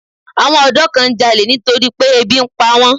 Àwọn ọ̀dọ́ kan ń jalè nítorí pé ebi ń pa wọ́n.